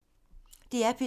DR P2